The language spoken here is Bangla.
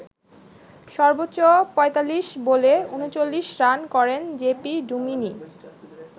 সর্বোচ্চ ৪৫ বলে ৩৯ রান করেন জে পি ডুমিনি।